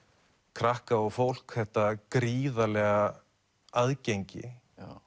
krakka og fólk þetta gríðarlega aðgengi